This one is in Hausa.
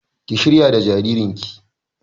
Ki shayar da jaririn ki!